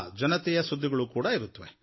ಜನತೆಯ ಸುದ್ದಿಗಳೂ ಇರುತ್ವೆ